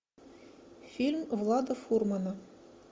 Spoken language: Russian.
фильм влада фурмана